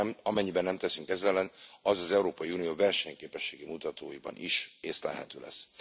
Amennyiben nem teszünk ez ellen, az az Európai Unió versenyképességi mutatóiban is észlelhető lesz.